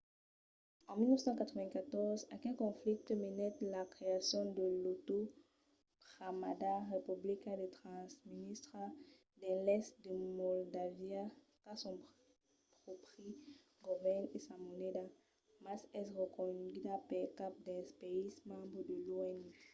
en 1994 aquel conflicte menèt a la creacion de l'autoproclamada republica de transnístria dins l'èst de moldàvia qu'a son pròpri govèrn e sa moneda mas es pas reconeguda per cap dels païses membres de l'onu